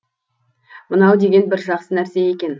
мынау деген бір жақсы нәрсе екен